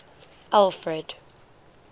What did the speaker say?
alfred